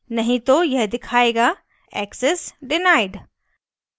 नहीं तो यह दिखायेगा access denied